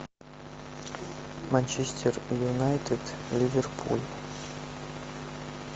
манчестер юнайтед ливерпуль